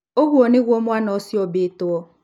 Ũguo nĩguo mwana ũcio ũũmbĩtwo.